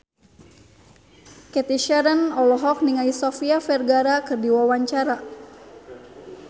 Cathy Sharon olohok ningali Sofia Vergara keur diwawancara